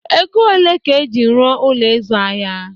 Ego olee ka eji ruo Ụlọ ịzụ ahịa